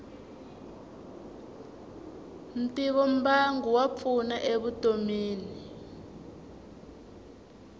ntivombangu wa pfuna e vutomini